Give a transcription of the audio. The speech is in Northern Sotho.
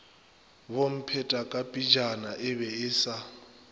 bomphetakapejana e be e sa